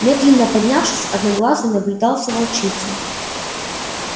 медленно поднявшись одноглазый наблюдал за волчицей